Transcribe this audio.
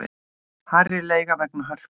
Hærri leiga vegna Hörpu